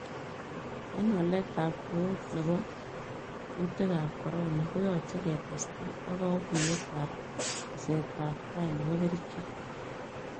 En walet ab koot nebo kutik ab Corona koyache ketestai ak kaguyet ab tesetab tai nebo kerichek